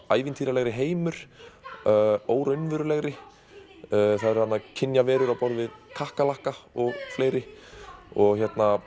ævintýralegri heimur óraunverulegri það eru þarna kynjaverur á borð við kakkalakka og fleiri og